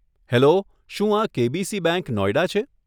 Hello, શું આ KBC bank, Noida છે?